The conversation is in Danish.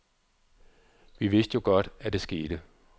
Vi vidste jo godt, at det skete.